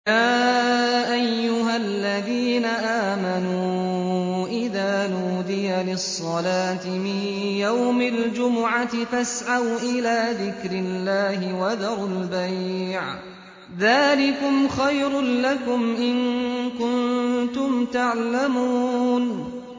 يَا أَيُّهَا الَّذِينَ آمَنُوا إِذَا نُودِيَ لِلصَّلَاةِ مِن يَوْمِ الْجُمُعَةِ فَاسْعَوْا إِلَىٰ ذِكْرِ اللَّهِ وَذَرُوا الْبَيْعَ ۚ ذَٰلِكُمْ خَيْرٌ لَّكُمْ إِن كُنتُمْ تَعْلَمُونَ